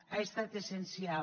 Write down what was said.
ha estat essencial